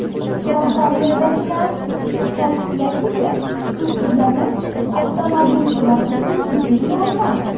Kompaniyadagilar ta’kidlashicha, suvsizlanish avtomobilchilar uchun jiddiy muammo.